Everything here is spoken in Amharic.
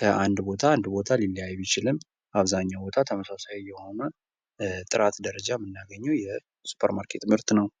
ከአንድ ቦታ አንድ ቦታ ሊለያይ ቢችልም አብዛኛው ቦታ ተመሳሳይ የሆነ ጥራት ደረጃ የምናገኘው የሱፐር ማርኬት ምርት ነው ።